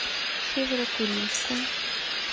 северо курильску